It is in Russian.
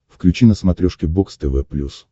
включи на смотрешке бокс тв плюс